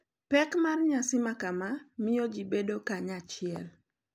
Pek mar nyasi makama miyo ji bedo kanyachiel,